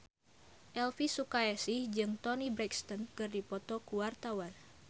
Elvi Sukaesih jeung Toni Brexton keur dipoto ku wartawan